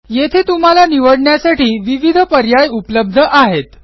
येथे तुम्हाला निवडण्यासाठी विविध पर्याय उपलब्ध आहेत